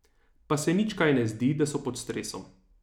Pa se nič kaj ne zdi, da so pod stresom.